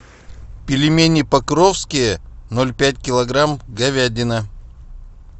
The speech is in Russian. пельмени покровские ноль пять килограмм говядина